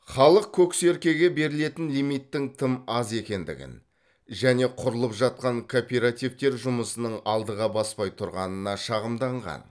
халық көксеркеге берілетін лимиттің тым аз екендігін және құрылып жатқан кооперативтер жұмысының алдыға баспай тұрғанына шағымданған